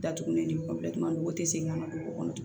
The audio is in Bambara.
Datugulen ni ninnu o tɛ segin ka na dugu kɔnɔ